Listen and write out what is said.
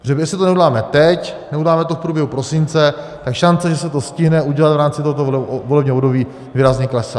Protože jestli to neuděláme teď, neuděláme to v průběhu prosince, tak šance, že se to stihne udělat v rámci tohoto volebního období, výrazně klesá.